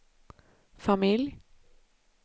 familj